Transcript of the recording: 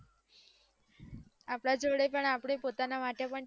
અપડા જોડે અપડા માટે time નથી